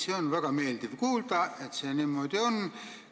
Seda on väga meeldiv kuulda, et see niimoodi on.